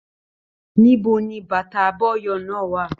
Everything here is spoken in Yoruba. Níbo ní bàtà abọyọ̀ náà wà?